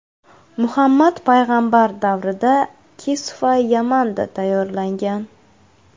Muhammad Payg‘ambar davrida kisva Yamanda tayyorlangan.